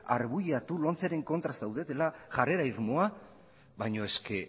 arbuiatu lomceren kontra zaudetela jarrera irmoa baina